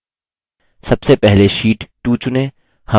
सबसे पहले sheet 2 चुनें